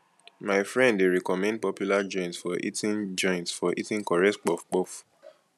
my friend dey recommend popular joint for eating joint for eating correct puffpuff